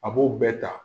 A b'o bɛɛ ta